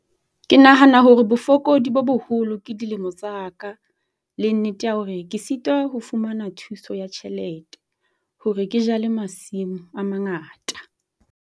Ke nahana hore bofokodi bo boholo ke dilemo tsa ka le nnete ya hore ke sitwa ho fumana thuso ya tjhelete hore ke jale masimo a mangata.